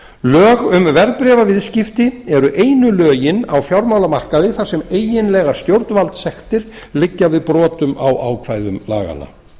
lög um verðbréfaviðskipti eru einu lögin á fjármálamarkaði þar sem eiginlegar stjórnvaldssektir liggja við brotum á ákvæðum laganna